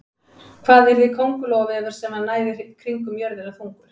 Hvað yrði köngulóarvefur sem næði kringum jörðina þungur?